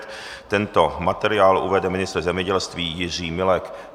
Tento materiál uvede ministr zemědělství Jiří Milek.